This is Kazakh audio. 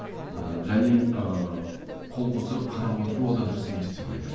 ыыы және ыыы қол қусырып қарап отыру ол да дұрыс емес деп ойлаймын